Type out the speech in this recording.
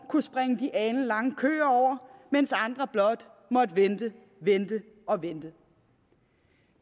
kunne springe de alenlange køer over mens andre blot måtte vente vente og vente